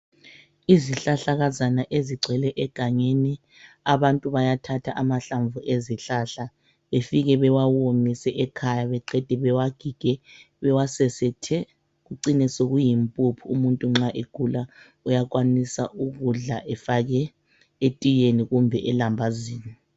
Izihlahlakazane ezigcwele egangeni abantu bayathatha amahlamvu ezihlahla befike bewawomise ekhaya beqede bewagige bewasesethe kucine sekuyimphuphu umuntu nxa egula uyakwanisa ukudla efake etiyeni kumbe elambazini